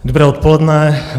Dobré odpoledne.